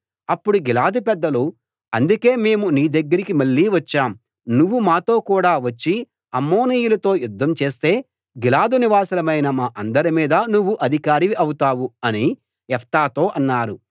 అప్పుడు గిలాదు పెద్దలు అందుకే మేము నీదగ్గరికి మళ్ళీ వచ్చాం నువ్వు మాతో కూడా వచ్చి అమ్మోనీయులతో యుద్ధం చేస్తే గిలాదు నివాసులమైన మా అందరిమీద నువ్వు అధికారివి ఔతావు అని యెఫ్తాతో అన్నారు